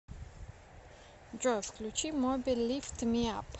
джой включи моби лифт ми ап